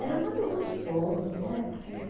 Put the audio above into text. Era muito gostoso, né? Porque